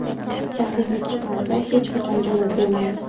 Jahlingiz chiqqanida hech qachon javob bermang.